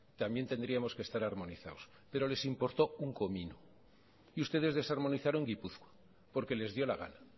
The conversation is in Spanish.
también tendríamos que estar armonizados pero les importó un comino y ustedes desarmonizaron gipuzkoa porque les dio la gana